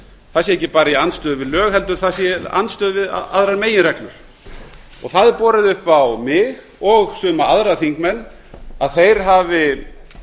það sé ekki bara í andstöðu við lög heldur sé það í andstöðu við aðrar meginreglur og það borið upp á mig og suma aðrar þingmenn að þeir hafi